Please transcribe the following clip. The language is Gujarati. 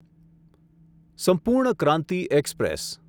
સંપૂર્ણ ક્રાંતિ એક્સપ્રેસ